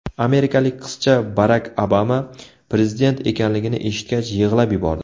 Amerikalik qizcha Barak Obama prezident ekanligini eshitgach yig‘lab yubordi.